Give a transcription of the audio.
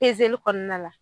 Pezeli kɔnɔna la